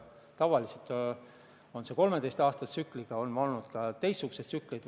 Tavaliselt on tsükkel 13 aasta pikkune, aga vahepeal on olnud ka teistsuguseid tsükleid.